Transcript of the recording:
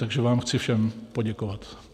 Takže vám chci všem poděkovat.